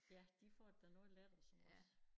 Ja de får det da noget lettere som os